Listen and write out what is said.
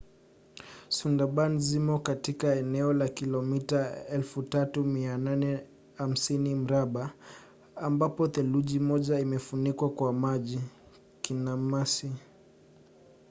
sundarban zimo katika eneo la kilomita 3,850 mraba ambapo theluthi moja imefunikwa kwa maji/kinamasi